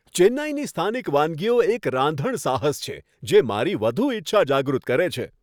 ચેન્નઈની સ્થાનિક વાનગીઓ એક રાંધણ સાહસ છે, જે મારી વધુ ઇચ્છા જાગૃત કરે છે.